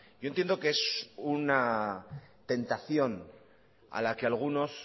yo entiendo que es una tentación a la que algunos